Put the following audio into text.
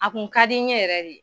A kun ka di n ɲe yɛrɛ de.